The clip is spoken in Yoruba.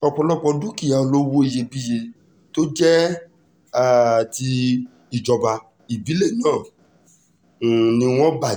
ọ̀pọ̀lọpọ̀ dúkìá olówó iyebíye tó jẹ́ um ti ìjọba ìbílẹ̀ náà um ni wọ́n bàjẹ́